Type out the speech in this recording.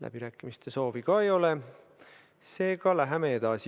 Läbirääkimiste soovi ka ei ole, seega läheme edasi.